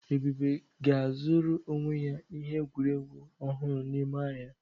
Ebube ga-azụrụ onwe ya ihe egwuregwu ọhụrụ n'ụlọ ahịa.